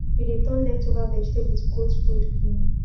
we dey turn leftover vegetable to goat food um